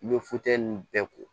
I bɛ ninnu bɛɛ ko